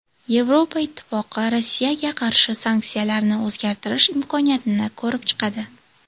Yevropa Ittifoqi Rossiyaga qarshi sanksiyalarni o‘zgartirish imkoniyatini ko‘rib chiqadi .